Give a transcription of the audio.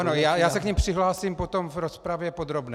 Ano, já se k nim přihlásím potom v rozpravě podrobné.